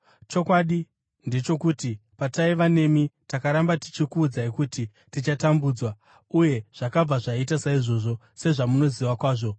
Chokwadi ndechokuti, pataiva nemi, takaramba tichikuudzai kuti tichatambudzwa. Uye zvakabva zvaita saizvozvo, sezvamunoziva kwazvo.